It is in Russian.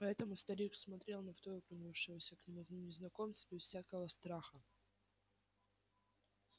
поэтому старик смотрел на вторгнувшегося к нему незнакомца без всякого страха